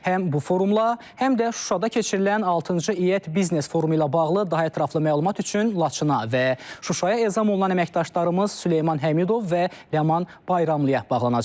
Həm bu forumla, həm də Şuşada keçirilən altıncı İƏT biznes forumu ilə bağlı daha ətraflı məlumat üçün Laçına və Şuşaya ezam olunan əməkdaşlarımız Süleyman Həmidov və Ləman Bayramlıya bağlanacağıq.